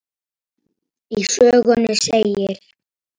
Í sögunni segir: